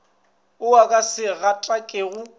wo o ka se gatakego